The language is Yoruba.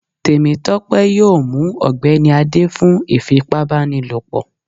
Temitope yọọ mú ọgbẹni Ade fún ifípábanílopo